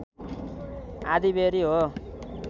आँधीबेहरी हो